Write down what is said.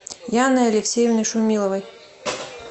яной алексеевной шумиловой